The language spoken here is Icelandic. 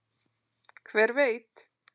Hver veit